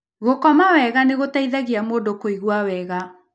Gũkoma wega nĩ gũteithagia mũndũ kũigua wega.